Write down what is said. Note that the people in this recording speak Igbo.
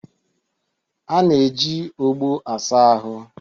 A na-eji ogbo asa ahụ